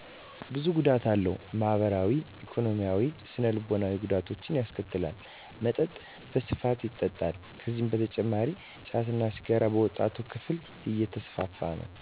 ብዙ ጉዳት አለው፣ ማህበራዊ፣ ኢኮኖሚያዊያዊ፣ ስነ ልቦናዊ ጉዳቶች ያስከትላል። መጠጥ በስፋት ይጠጣል። ከዚህ በተጨማሪም ጫት እና ሲጋር በወጣቱ ክፍል የተስፋፋ ነው።